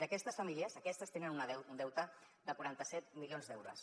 d’aquestes famílies aquestes tenen un deute de quaranta set milions d’euros